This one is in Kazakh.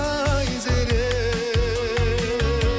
айзере